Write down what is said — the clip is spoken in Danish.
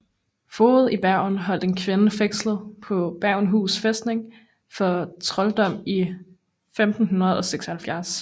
Fogden i Bergen holdt en kvinde fængslet på Bergenhus fæstning for trolddom i 1576